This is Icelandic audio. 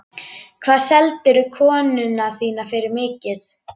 Hvað seldirðu konuna þína fyrir mikið?